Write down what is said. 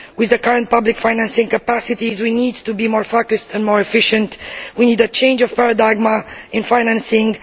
With the current public financing capacities we need to be more focused and more efficient. We need a change of paradigm in financing.